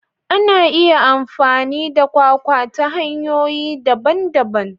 Ana iya amfani da kwakwa ta hanyoyi daban-daban.